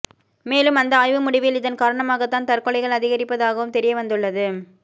மேலும் அந்த ஆய்வு முடிவில் இதன் காரணமாக தான் தற்கொலைகள் அதிகரிப்பதாகவும் தெரியவந்துள்ளது